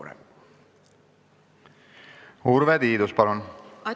Urve Tiidus, palun!